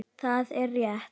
Það er rétt.